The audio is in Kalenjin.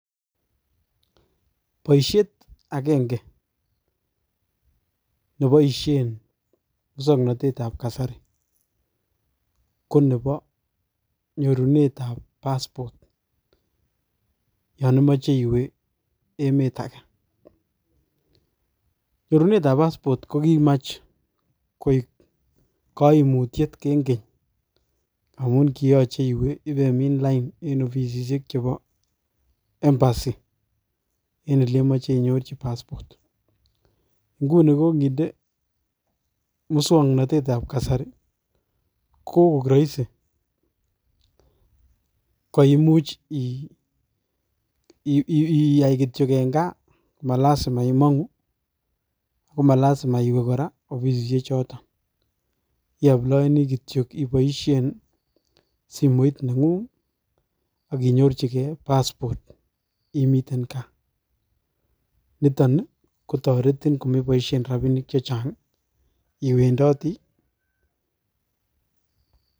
Boishet agenge neboishien musoknotetab kasari konebo nyorunetab passport yon imoche iwe emetage. Nyorunetab passport ko kimach koik koimutyet eng keny amun kiyoche iwe ibemin lain eng ofisisiek chebo embassy en elemoche inyorchi passport. Nguni kokinde muswoknotetab kasari ko kokoik Roisin, koimuch iyaay kityok eng gaa, ak malasima iwe ofisisiek choton. Itieme kityok iboishie simoit ak inyorchige passport imiten gaa. Niton kotoreti komeboishien rabinik chechang iwendoti